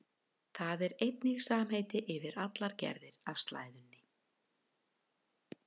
Það er einnig samheiti yfir allar gerðir af slæðunni.